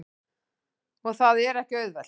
Og það er ekki auðvelt.